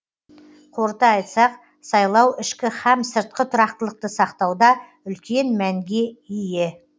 қорыта айтсақ сайлау ішкі һәм сыртқы тұрақтылықты сақтауда үлкен мәнге ие